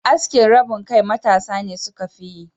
Askin rabin kai matasa ne suka fiyi.